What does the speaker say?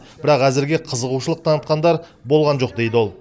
бірақ әзірге қызығушылық танытқандар болған жоқ дейді ол